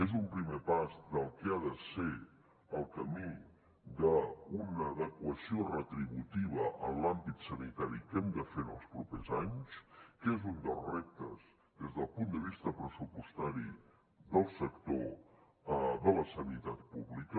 és un primer pas del que ha de ser el camí d’una adequació retributiva en l’àmbit sanitari que hem de fer en els propers anys que és un dels reptes des del punt de vista pressupostari del sector de la sanitat pública